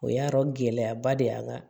O y'a dɔn gɛlɛyaba de y'an ka